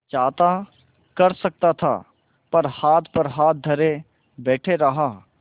चाहता कर सकता था पर हाथ पर हाथ धरे बैठे रहा